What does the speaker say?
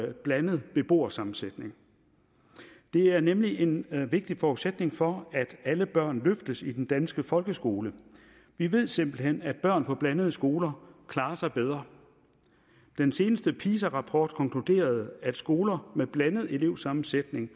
en blandet beboersammensætning det er nemlig en vigtig forudsætning for at alle børn løftes i den danske folkeskole vi ved simpelt hen at børn på blandede skoler klarer sig bedre den seneste pisa rapport konkluderede at skoler med en blandet elevsammensætning